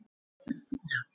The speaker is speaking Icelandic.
En ég fann ráð við því.